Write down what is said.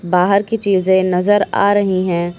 बाहर की चीजें नजर आ रही है।